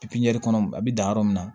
pipiɲɛri kɔnɔ a bi dan yɔrɔ min na